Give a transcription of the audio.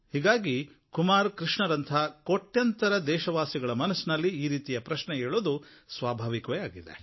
ಹೀಗಾಗಿ ಕುಮಾರ್ ಕೃಷ್ಣರಂತಹ ಕೋಟ್ಯಂತರ ದೇಶವಾಸಿಗಳ ಮನಸ್ಸಿನಲ್ಲಿ ಈ ರೀತಿಯ ಪ್ರಶ್ನೆ ಏಳೋದು ಸ್ವಾಭಾವಿಕವೇ ಆಗಿದೆ